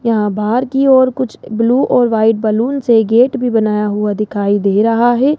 यहां बाहर की ओर कुछ ब्लू और व्हाइट बलून से गेट भी बनाया हुआ दिखाई दे रहा है।